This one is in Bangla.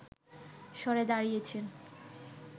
সরে দাঁড়িয়েছেন